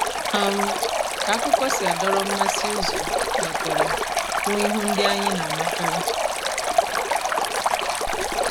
um ka akụkọ si adọrọ mmasị ụzọ mepere hụ ihu ndị anyị na-amakarị.